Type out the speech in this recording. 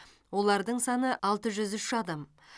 олардың саны алты жүз үш адам